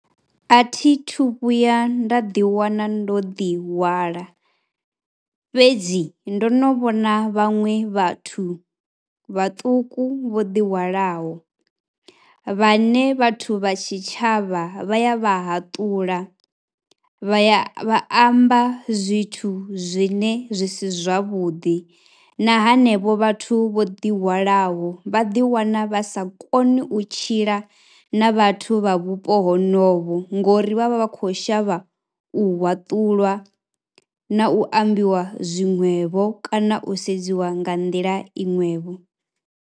A thi thu vhuya nda ḓiwana ndo ḓihwala fhedzi ndo no vhona vhaṅwe vhathu vhaṱuku vho ḓihwalaho, vhane vhathu vha tshitshavha vha ya vha hatula, vha ya amba zwithu zwine zwi si zwavhuḓi na henevho vhathu vho ḓihwalaho vha ḓiwana vha sa koni u tshila na vhathu vha vhupo honovho ngori vha vha vha khou shavha u haṱulwa na u ambiwa zwiṅwevho kana u sedziwa nga nḓila i ṅwevho.